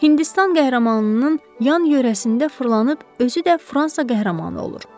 Hindistan qəhrəmanının yan-yörəsində fırlanıb, özü də Fransa qəhrəmanı olur.